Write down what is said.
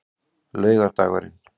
laugardagurinn